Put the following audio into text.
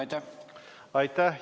Aitäh!